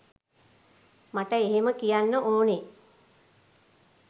මට එහෙම කියන්න ඕනෙ